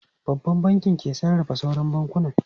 Babban Bankin ke sarrafa sauran bankunan.